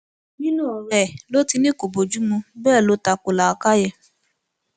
nínú ọrọ ẹ ló ti ní kó bojumu bẹẹ ló ta ko làákàyè